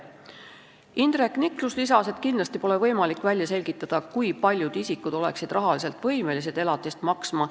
Indrek Niklus lisas, et kindlasti pole võimalik välja selgitada, kui paljud isikud oleksid rahaliselt võimelised elatist maksma.